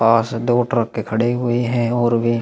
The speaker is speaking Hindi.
पास दो ट्रक खड़े हुए हैं और वे--